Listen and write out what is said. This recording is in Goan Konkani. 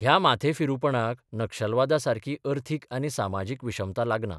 ह्या माथेफिरूपणाक नक्षलवादासारकी अर्थीक आनी सामाजीक विशमता लागना.